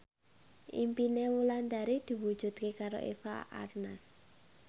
impine Wulandari diwujudke karo Eva Arnaz